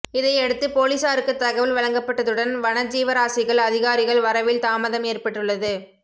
இதையடுத்து பொலிசாருக்கு தகவல் வழங்கப்பட்டதுடன் வனஜீவராசிகள் அதிகாரிகள் வரவில் தாமதம் ஏற்பட்டுள்ளது